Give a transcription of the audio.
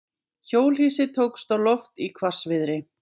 Hjólhýsi tókst á loft í hvassviðri